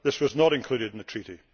This was not included in the Treaty.